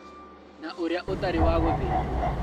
Na ũrĩa ũtarĩ wa gũthĩnjwo